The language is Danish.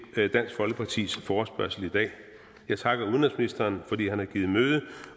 til dansk folkepartis forespørgsel i dag jeg takker udenrigsministeren fordi han har givet møde